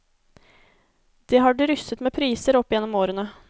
Det har drysset med priser opp gjennom årene.